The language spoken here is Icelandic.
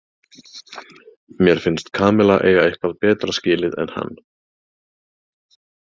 Mér finnst Kamilla eiga eitthvað betra skilið en hann.